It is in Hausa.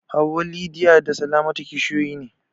Hauwa, Lydia da Salamatu kishiyoyi ne.